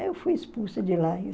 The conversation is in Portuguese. Eu fui expulsa de lá em